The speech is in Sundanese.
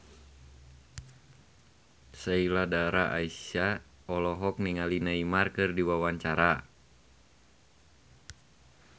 Sheila Dara Aisha olohok ningali Neymar keur diwawancara